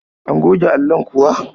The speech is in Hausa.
An goge allon kuwa?